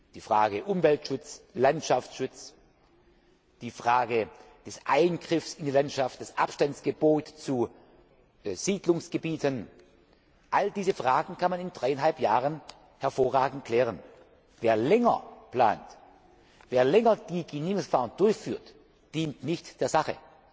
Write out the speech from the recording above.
Die Frage des Umwelt und Landschaftsschutzes, die Frage des Eingriffs in die Landschaft, das Abstandsgebot zu Siedlungsgebieten, all diese Fragen kann man in dreieinhalb Jahren hervorragend klären. Wer länger plant, wer die Genehmigungsverfahren länger durchführt, dient nicht der Sache.